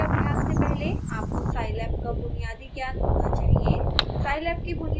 इस ट्यूटोरियल के अभ्यास से पहले आपको scilab का बुनियादी ज्ञान होना चाहिए